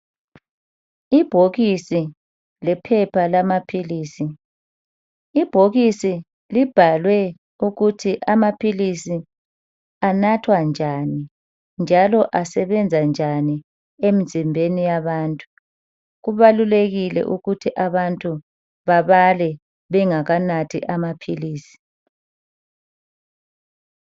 ibhokisi lephepha lamaphilisi ibhokisi libhalwe ukuthi amaphilisi anathwa njani bjalo asebenza njani emzimbeni yabantu kubalulekile ukuthi abantu babale bengakanathi amaphilisi